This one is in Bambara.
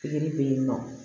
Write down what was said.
Pikiri bɛ yen nɔ